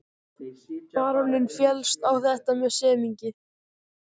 Baróninn féllst á þetta með semingi.